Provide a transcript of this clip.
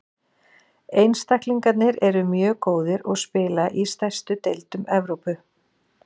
Einstaklingarnir eru mjög góðir og spila í stærstu deildum Evrópu.